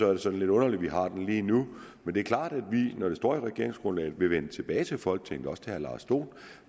er det sådan lidt underligt at vi har den lige nu men det er klart at vi når det står i regeringsgrundlaget vil vende tilbage til folketinget også til herre lars dohn